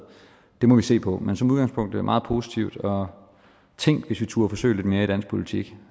det må vi se på men som udgangspunkt er vi meget positive og tænk hvis vi turde forsøge lidt mere i dansk politik